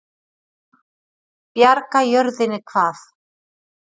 Bjarga jörðinni hvað?